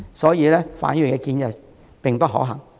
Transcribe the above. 所以，范議員的建議並不可行。